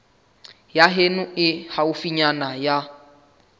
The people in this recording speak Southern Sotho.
ya heno e haufinyana ya